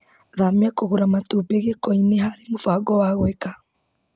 Thamia kũgũra matumbĩ gĩko-inĩ harĩ mũbango wa gwĩka .